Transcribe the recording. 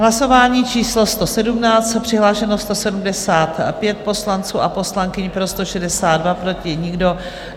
Hlasování číslo 117, přihlášeno 175 poslanců a poslankyň, pro 162, proti nikdo.